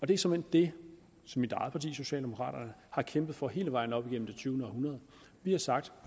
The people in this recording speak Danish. det er såmænd det som mit eget parti socialdemokraterne har kæmpet for hele vejen op igennem det tyvende århundrede vi har sagt